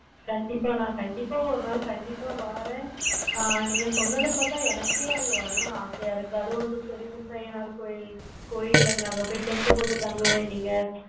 கண்டிப்பா கண்டிப்பா வாரேன். ஆஹ் நீங்க சொன்னதை பார்த்த எனக்கே தங்க வரணும் ஆசையா இருக்கு. பேரு வந்து சொரிமுத்து அய்யனார் கோவில் கோவில்ல வந்து அங்க tent போட்டோ தாங்குவாங்க.